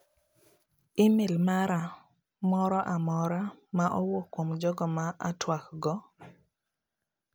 Imel mara moro amora ma owuok kuom joga ma atuak godo?